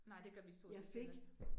Nej, det gør vi stort set heller ikke